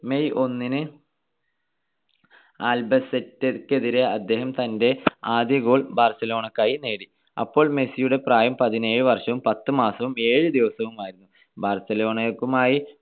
May ഒന്നിന് അൽബാസെറ്റെക്കെതിരെ അദ്ദേഹം തന്റെ ആദ്യ goal ബാർസലോണക്കായി നേടി. അപ്പോൾ മെസ്സിയുടെ പ്രായം പതിനേഴു വർഷവും പത്തു മാസവും ഏഴ് ദിവസവുമായിരുന്നു.